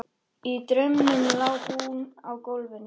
Í draumnum lá hún á gólfinu.